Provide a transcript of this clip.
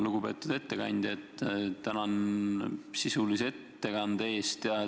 Lugupeetud ettekandja, tänan sisulise ettekande eest!